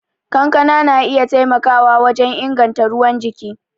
Kankana na iya taimakawa wajen inganta ruwan jiki.